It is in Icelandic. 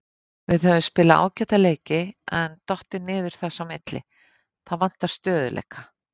Við höfum spilað ágæta leiki en dottið niður þess á milli, það vantar stöðugleika.